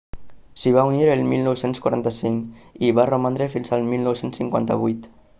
s'hi va unir el 1945 i hi va romandre fins al 1958